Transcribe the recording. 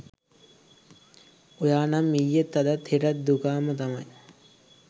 ඔයා නම් ඊයෙත් අදත් හෙටත් දුකාම තමයි